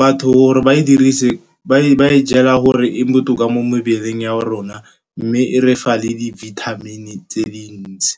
Batho gore ba e dirise, ba e jala gore e botoka mo mebeleng ya rona, mme e re fa le di-vitamin-e tse dintsi.